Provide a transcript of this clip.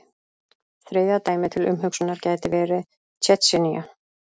Þriðja dæmið til umhugsunar gæti verið Tsjetsjenía.